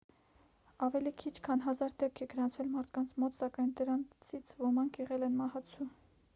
ավելի քիչ քան հազար դեպք է գրանցվել մարդկանց մոտ սակայն դրանցից ոմանք եղել են մահացու